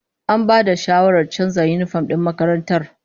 An bada shawarar canza yinifom din makarantar